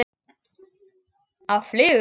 Á flugu?